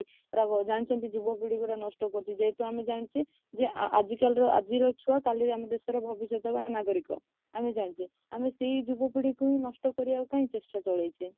ଯୁବକଗୁଡକୁ ନଷ୍ଟ କରୁଛୁ ଯେ ଯେହେତୁ ଆମେ ଜାଣିଛେ ଆଜିକାର ଗୋଟେ ଆଜିର ଛୁଆ କଲି ଆମ ଦେଶର ଭବିଷ୍ୟତ ବା ନାଗରିକ ଆମେ ଜାଣିଛେ ଆମେ ସେଇ ଯୁବକଗୁଡକୁ ନଷ୍ଟ କରିବାକୁ ଚେଷ୍ଟା କଇଁ ଚଳାଇଛେ